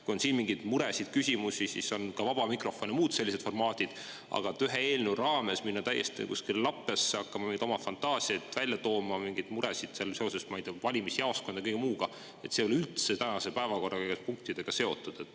Kui on siin mingeid muresid, küsimusi, siis on ka vaba mikrofon ja muud sellised formaadid, aga et ühe eelnõu raames minna täiesti kuskile lappesse, hakata oma fantaasiaid välja tooma, mingeid muresid seoses, ma ei tea, valimisjaoskondade, kõige muuga, see ei ole üldse tänase päevakorra punktidega seotud.